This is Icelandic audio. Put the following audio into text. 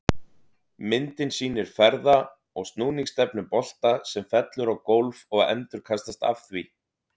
Myndin sýnir ferða- og snúningsstefnu bolta sem fellur á gólf og endurkastast af því.